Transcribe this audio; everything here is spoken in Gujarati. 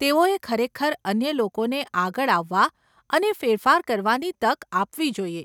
તેઓએ ખરેખર અન્ય લોકોને આગળ આવવા અને ફેરફાર કરવાની તક આપવી જોઈએ.